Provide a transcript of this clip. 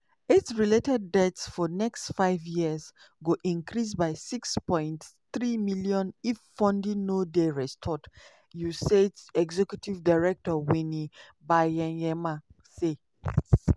"aids related deaths for next five years go increase by 6.3 million" if funding no dey restored unaids executive director winnie byanyima say.